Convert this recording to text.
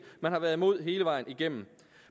man har været imod hele vejen igennem